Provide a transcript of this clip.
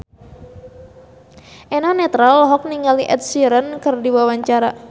Eno Netral olohok ningali Ed Sheeran keur diwawancara